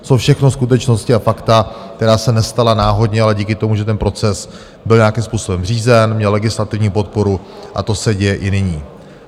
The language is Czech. To jsou všechno skutečnosti a fakta, která se nestala náhodně, ale díky tomu, že ten proces byl nějakým způsobem řízen, měl legislativní podporu, a to se děje i nyní.